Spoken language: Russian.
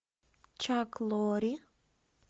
чак лори